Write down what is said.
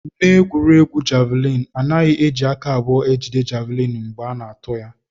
N'egwuregwu javịlịn, a naghị eji aka abụọ ejide javịlịn mgbe a na-atụ ya